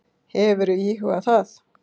Hefurðu íhugað það?